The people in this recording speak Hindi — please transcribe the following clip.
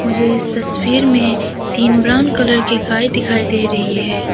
मु झे इस तस्वीर में तीन ब्राउन कलर की गाय दिखाई दे रही है।